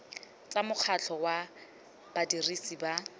tsa mokgatlho wa badirisi ba